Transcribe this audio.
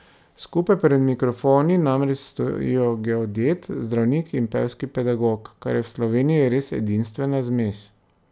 Skupaj pred mikrofoni namreč stojijo geodet, zdravnik in pevski pedagog, kar je v Sloveniji res edinstvena zmes.